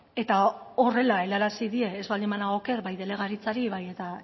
eta horrela helarazi die ez banago oker bai delegaritzari bai eta